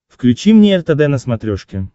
включи мне ртд на смотрешке